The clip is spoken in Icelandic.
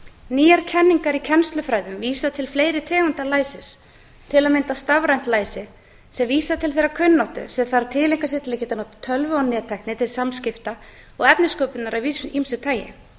nýjar kenningar í kennslufræðum vísa til fleiri tegunda læsis til að mynda stafrænt læsi sem vísar til þeirrar kunnáttu sem þarf að tileinka sér til að geta notað tölvu og nettækni til samskipta og efnissköpunar af ýmsu tagi